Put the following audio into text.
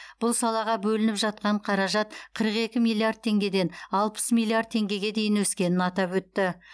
бұл салаға бөлініп жатқан қаражат қырық екі миллиард теңгеден алпыс миллиард теңгеге дейін өскенін атап өтті